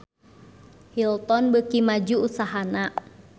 Hilton beuki maju usahana